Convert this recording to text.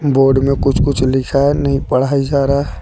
Board में कुछ कुछ लिखा नहीं पढ़ाई जा रहा है।